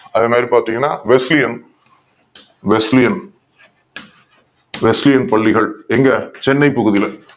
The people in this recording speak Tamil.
அதே மாதிரி பார்த்தீங்கன்னா Basiliane Basiliane பள்ளிகள் இங்க சென்னை பகுதியில